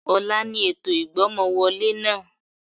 Ọ̀la ni ètò ìgbọ́mọwọlé náà